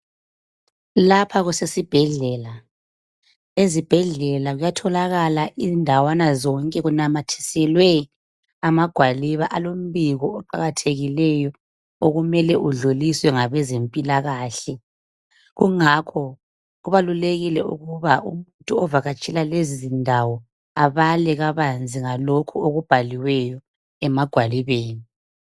Lapha kusesibhedlela ezibhedlela kuyatholakala indawana zonke kunamathiselwe amagwaliba alombiko oqakathekileyo okumele udluliswe ngabezempilakahle. Kungakho kubalulekile ukuba umuntu ovakatshela lezizindawo abale kabanzi ngalokhu okubhaliweyo emagwalibeni.